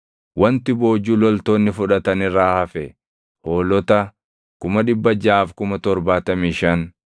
Wanti boojuu loltoonni fudhatan irraa hafe hoolota 675,000,